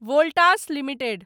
Voltas limited